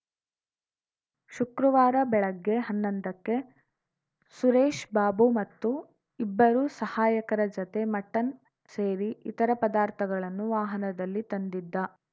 ಶುಕ್ರವಾರ ಬೆಳಗ್ಗೆ ಹನ್ನೊಂದಕ್ಕೆ ಸುರೇಶ್‌ಬಾಬು ಮತ್ತು ಇಬ್ಬರು ಸಹಾಯಕರ ಜತೆ ಮಟನ್‌ ಸೇರಿ ಇತರ ಪದಾರ್ಥಗಳನ್ನುವಾಹನದಲ್ಲಿ ತಂದಿದ್ದ